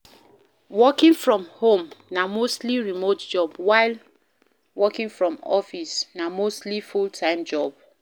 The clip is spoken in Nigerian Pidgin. Working from home na mostly remote job while office na mostly full time job